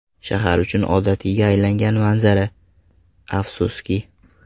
Shahar uchun odatiyga aylangan manzara, afsuski.